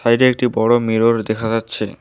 Side -এ একটি বড়ো মিরর দেখা যাচ্ছে।